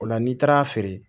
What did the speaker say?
O la n'i taara a feere